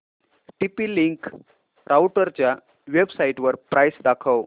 TP link राउटरच्या वेबसाइटवर price दाखव